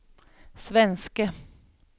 svenske